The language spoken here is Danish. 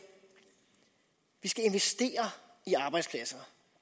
at vi skal investere i arbejdspladser